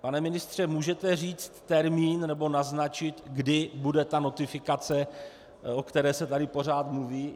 Pane ministře, můžete říct termín, nebo naznačit, kdy bude ta notifikace, o které se tady pořád mluví?